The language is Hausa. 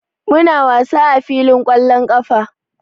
Muna wasa a filin wasan ƙwallon ƙafa.